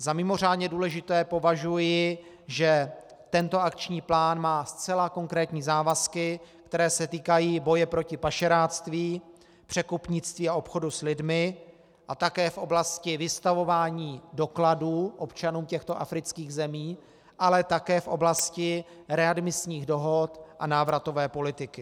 Za mimořádně důležité považuji, že tento akční plán má zcela konkrétní závazky, které se týkají boje proti pašeráctví, překupnictví a obchodu s lidmi, a také v oblasti vystavování dokladů občanům těchto afrických zemí, ale také v oblasti readmisních dohod a návratové politiky.